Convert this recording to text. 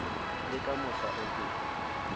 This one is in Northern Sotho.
le ka mohla o tee